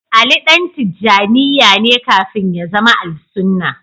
Ali ɗan Tijanniya ne kafin ya zama Al-suna.